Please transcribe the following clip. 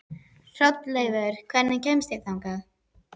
Hrolleifur, hvernig kemst ég þangað?